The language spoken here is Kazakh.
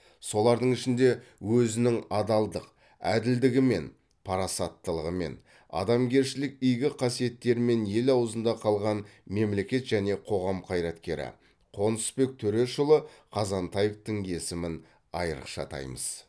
солардың ішінде өзінің адалдық әділдігімен парасаттылығымен адамгершілік игі қасиеттерімен ел аузында қалған мемлекет және қоғам қайраткері қонысбек төрешұлы қазантаевтың есімін айрықша атаймыз